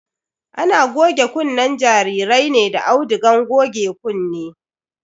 Ana goge kunnen jarirai ne da audugan goge kunne.